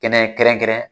Kɛnɛ kɛrɛnkɛrɛn